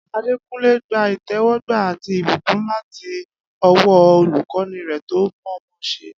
Adekunle gba ìtẹ́wọ́gbà àti ìbùkún láti ọwọ́ olùkọ́ni rẹ̀ tó mọ̀ọ́mọṣẹ́.